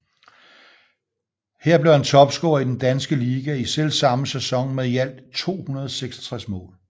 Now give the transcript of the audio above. Her blev han topscorer i den danske liga i selvsamme sæson med i alt 266 mål